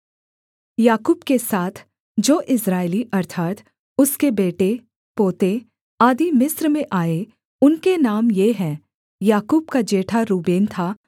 याकूब के साथ जो इस्राएली अर्थात् उसके बेटे पोते आदि मिस्र में आए उनके नाम ये हैं याकूब का जेठा रूबेन था